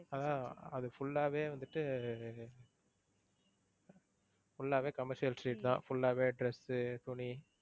ஆஹ் அது full ஆவே வந்துட்டு full ஆவே commercial street தான் full ஆவே dress உ துணி